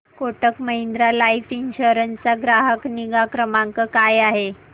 Kotak Mahindra life insurance चा ग्राहक निगा क्रमांक काय आहे